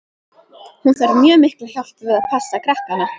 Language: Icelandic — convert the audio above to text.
Hún þarf mjög mikla hjálp við að passa krakkana.